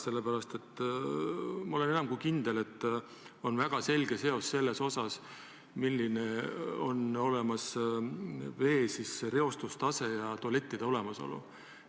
Sellepärast, et ma olen enam kui kindel, et on väga selge seos vee reostustaseme ja tualettide olemasolu vahel.